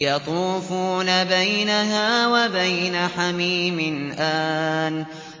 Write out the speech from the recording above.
يَطُوفُونَ بَيْنَهَا وَبَيْنَ حَمِيمٍ آنٍ